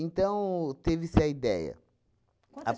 teve-se a ideia. Quantas